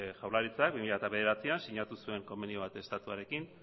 jaurlaritzak bi mila bederatzian sinatu zuen konbenio bat estatuarekin